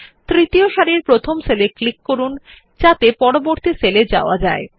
তৃতীয় সারির প্রথম সেল এ ক্লিক করুন যাতে পরবর্তী সেল এ যাওয়া যায়